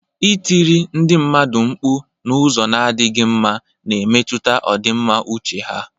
Ịtiri ndị mmadụ mkpu n'ụzọ na-adịghị mma na-emetụta ọdịmma uche ha.